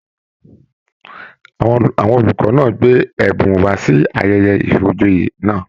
Àwọn olùkọ náà gbé ẹbùn wá sí ayẹyẹ ifíjòyè náà